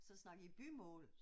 Så snakkede I bymål